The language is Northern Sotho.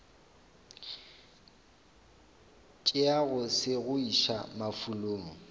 tšeago se go iša mafulong